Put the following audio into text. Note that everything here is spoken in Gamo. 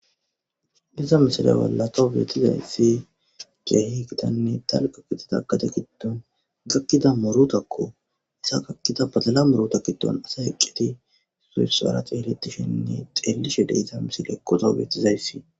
Iza misile bolla thawu beeththizayssi keehi githanne dalgga gidida gade giddon gakkida muruthakkoo; iza gakkida badala murutha giddon asay eqqidi issoy issuwaara xeeleththishenne xeellishe de7iza misilekko thawu beeththizayssi.